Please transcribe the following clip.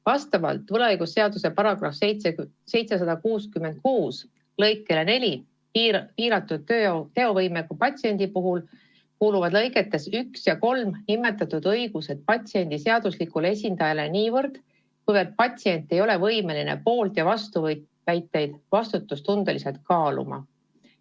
Vastavalt võlaõigusseaduse § 766 lõikele 4 kuuluvad piiratud teovõimega patsiendi puhul lõigetes 1 ja 3 nimetatud õigused patsiendi seaduslikule esindajale niivõrd, kuivõrd patsient ei ole võimeline poolt- ja vastuväiteid vastutustundlikult kaaluma.